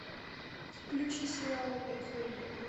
включи сериал эйфория